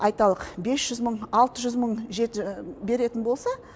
айталық бес жүз мың алты жүз мың беретін болса